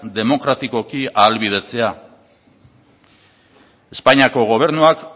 demokratikoki ahalbidetzea espainiako gobernuak